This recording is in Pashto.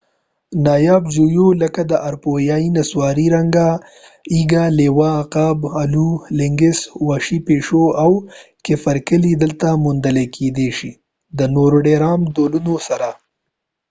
نایاب ژويو لکه د اروپا نسواري رنګه ايږ لیوه عقاب الو لینکس وحشي پیشو او کیپرکیلي دلته موندل کیدی شي د نورو ډیر عام ډولونو سره